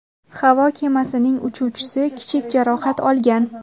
Havo kemasining uchuvchisi kichik jarohat olgan.